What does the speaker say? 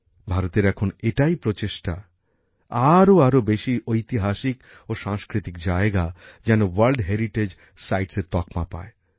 ভারতের এখন এটাও লক্ষ্য যাতে আরো আরো বেশী ঐতিহাসিক ও সাংস্কৃতিক জায়গা ওয়ার্ল্ড হেরিটেজ সাইটসের তকমা পায়